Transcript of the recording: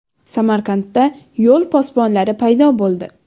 Samarqandda yo‘l posbonlari paydo bo‘ldi .